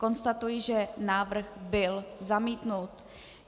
Konstatuji, že návrh byl zamítnut.